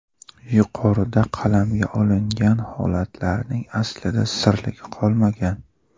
Yuqorida qalamga olingan holatlarning aslida sirligi qolmagan.